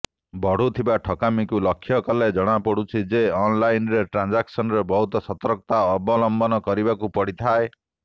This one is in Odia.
ବଢ଼ୁଥିବା ଠକାମିକୁ ଲକ୍ଷ୍ୟ କଲେ ଜଣାପଡୁଛି ଯେ ଅନଲାଇନ ଟ୍ରାନଜାକସନରେ ବହୁତ ସର୍ତକତା ଅବଲମ୍ବନ କରିବାକୁ ପଡିଥାଏ